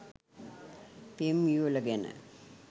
පෙම් යුවළ ගැන